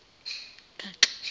gaxa